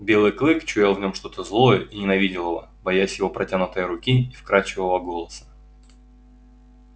белый клык чуял в нём что-то злое и ненавидел его боясь его протянутой руки и вкрадчивого голоса